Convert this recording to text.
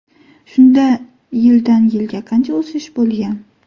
Shunda yildan yilga qancha o‘sish bo‘lgan?